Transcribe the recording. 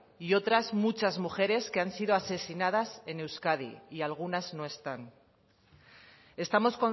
y otras muchas mujeres que han sido asesinadas en euskadi y algunas no están estamos